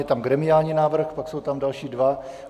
Je tam gremiální návrh, pak jsou tam další dva.